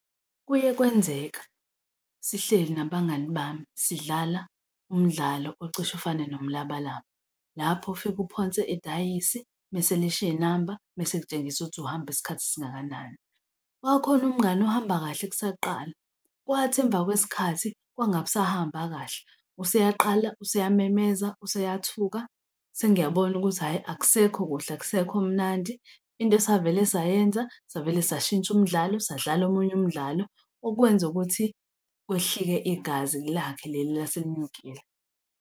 Kuye kwenzeka sihleli nabangani bami, sidlala umdlalo ocishe ufane nomlabalaba. Lapho ufike uphonse idayisi mese lishiy'namba mese kutshengisa ukuthi uhamba isikhathi esingakanani. Kwakukhona umngani ohamba kahle kusaqala, kwathi emva kwesikhathi kwangabe kusahamba kahle. Useyaqala useyamemeza, useyathuka, sengiyabona ukuthi hhayi, akusekho kuhle, akusekho mnandi. Into esavele sayenza, savele sashintsha umdlalo, sadlala omunye umdlalo okwenza ukuthi kwehlike igazi lakhe leli elaselinyukile.